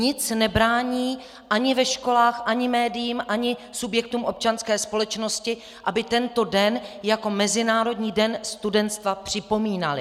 Nic nebrání ani ve školách, ani médiím, ani subjektům občanské společnosti, aby tento den jako Mezinárodní den studentstva připomínali.